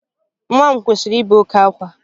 Nwa m kwụsịrị ibe oke ákwá